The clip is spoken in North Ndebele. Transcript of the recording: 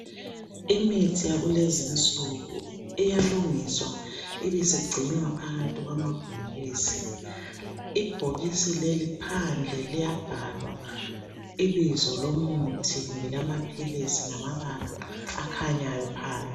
Imithi yakulezinsuku iyalungiswa ibisigcinwa phakathi kwamabhokisi, ibhokisi leli phandle liyabhalwa ibizo lokuthi lelamaphilisi ngamabala akhanyayo phandle.